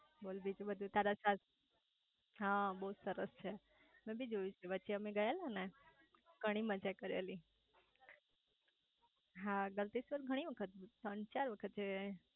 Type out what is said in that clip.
બોલ બીજુ બધું તારા સાસુ હા બહુ સરસ છે મેં જોયેલું છે વચ્ચે અમે ગયેલા ને ઘણી મજા કરેલી હા ગલતેશ્વર ઘણી વખત ત્રણ ચાર વખત જઈ આયા